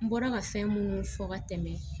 N bɔra ka fɛn munnu fɔ ka tɛmɛ